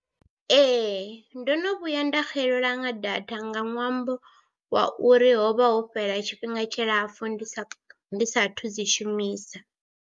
Ee ndo no vhuya nda xelelwa nga data nga ṅwambo wa uri ho vha ho fhela tshifhinga tshilapfhu ndi sa ndi saathu dzi shumisa.